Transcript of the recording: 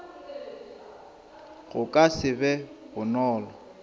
go ka se be bonolo